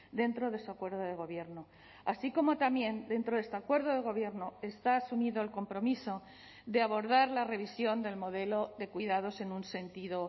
dentro de ese acuerdo de gobierno así como también dentro de este acuerdo de gobierno está asumido el compromiso de abordar la revisión del modelo de cuidados en un sentido